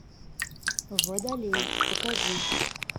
водолей покажи